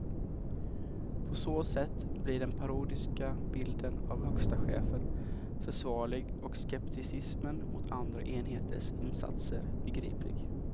På så sätt blir den parodiska bilden av högsta chefen försvarlig och skepticismen mot andra enheters insatser begriplig.